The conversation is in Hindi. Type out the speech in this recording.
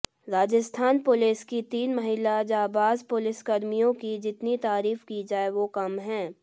राजस्थान पुलिस की तीन महिला जांबाज पुलिसकर्मियों की जितनी तारीफ की जाय वो कम है